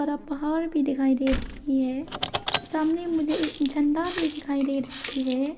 और पहाड़ भी दिखाई दे रही है सामने मुझे एक झंडा भी दिखाई दे रही है।